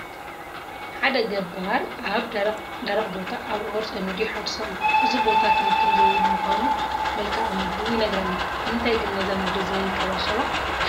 ሓደ ገባር ኣብ ደረቕ ቦታ ኣብዑር ፀሚዱ ይሓርስ ኣሎ፡፡ እዚ ቦታ ክንክን ዘይብሉ ምዃኑ መልክኣ ምድሩ ይነግረና፡፡ ንምንታይ ግን ነዛ ምድሪ ዘይንንከባኸባ?